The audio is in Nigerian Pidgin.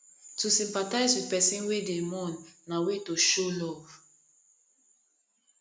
to sympathize with persin wey de mourn na way to show love